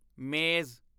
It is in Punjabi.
ਮੇਜ਼